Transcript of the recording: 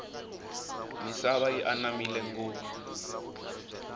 misava yi anamile ngofu